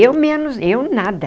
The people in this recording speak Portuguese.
Eu menos, eu nada.